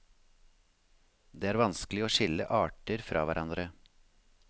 Det er vanskelig å skille arter fra hverandre.